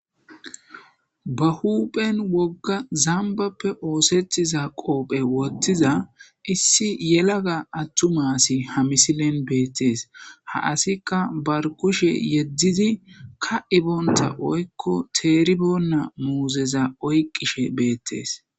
Ba huphen wogga zambappe oosethiza qoophe wottiza issi yelaga attumasi hamisilen beettees ha asikka barkushe yeddidi ka iboonta oykko teeribonna muuzeza oyqqishe beettes.